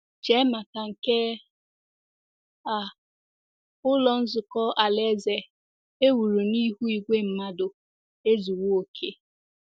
Chee maka nke a, Ụlọ Nzukọ Alaeze e wuru n'ihu igwe mmadụ ezuwo oké.